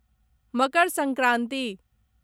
Makar Sankranti